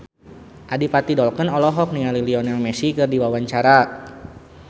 Adipati Dolken olohok ningali Lionel Messi keur diwawancara